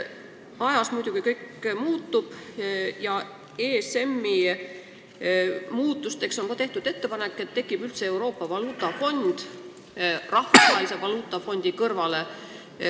Aga ajas muidugi kõik muutub ja on tehtud ettepanek ESM-i muuta, nii et tekib üldse Euroopa valuutafond Rahvusvahelise Valuutafondi kõrvale.